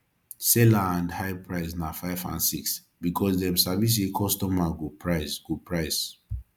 seller and high price na 5 and 6 because dem sabi say kostomer go price go price